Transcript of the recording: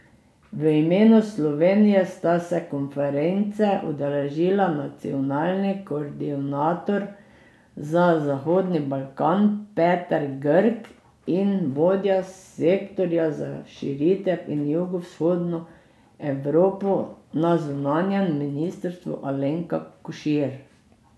V imenu Slovenije sta se konference udeležila nacionalni koordinator za Zahodni Balkan Peter Grk in vodja sektorja za širitev in jugovzhodno Evropo na zunanjem ministrstvu Alenka Košir.